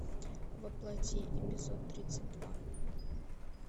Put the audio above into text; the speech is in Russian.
во плоти эпизод тридцать два